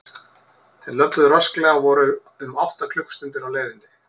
Þeir löbbuðu rösklega og voru um átta klukkustundir á leiðinni.